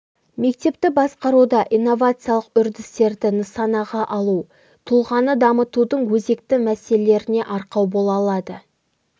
мектепті басқаруда инновациялық үрдістерді нысанаға алу тұлғаны дамытудың өзекті мәселелеріне арқау бола алады